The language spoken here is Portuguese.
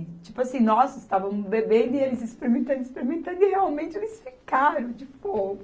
E tipo assim, nós estávamos bebendo e eles experimentando, experimentando e realmente eles ficaram, tipo